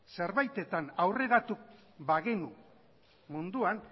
zerbaitetan aurreratu bagenu munduan